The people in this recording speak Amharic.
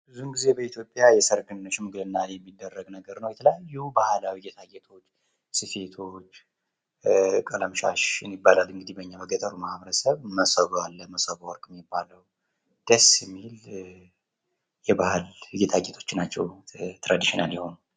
ብዙውን ጊዜ በኢትዮጵያ የሰርግ ወይ የሽምግልና የሚደረግ ነገር ነው። የተለያዩ ባህላዊ ጌጣጌጦች ቀለምሻሽ ይባላል እንግዲህ በኛ በገጠሩ ማህበረሰብ መሶብ አለ መሶበወርቅ የሚባለው ደስ የሚል የባህል ጌጣግጦች ናቸው ትራድሽናል የሆኑ።